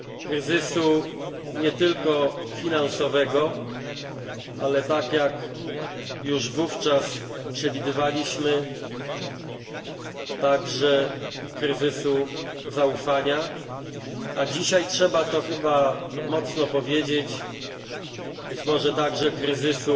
Kryzysu nie tylko finansowego, ale tak jak już wówczas przewidywaliśmy także kryzysu zaufania, a dzisiaj trzeba to chyba mocno powiedzieć być może także kryzysu